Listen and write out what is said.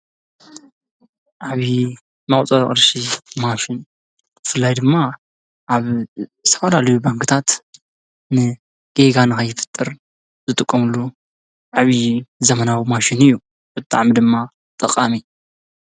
ዓብዪ መቁፀሪ ቅርሻ ማሽን ብፍላይ ድማ አብ ዝተፈላለያ ባንኪታት ነን ጌጋ ንከይፍጠር ዝጥቀምሉ ዓብዪ ዘበናዊ ማሽን እዪ ብጣዕሚ ድማ ጠቃሚ ።